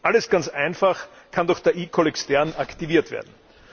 Alles ganz einfach, kann doch der eCall extern aktiviert werden.